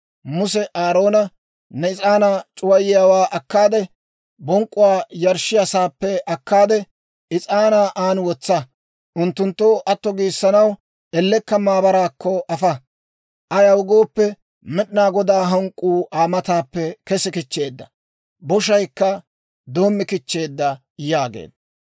Muse Aaroona, «Ne is'aanaa c'uwayiyaawaa akkaade, bonk'k'uwaa yarshshiyaa sa'aappe akkaade, is'aanaa aan wotsa; unttunttoo atto giissanaw ellekka maabaraakko afa. Ayaw gooppe, Med'inaa Godaa hank'k'uu Aa mataappe kesi kichcheedda; boshaykka doommi kichcheedda» yaageedda.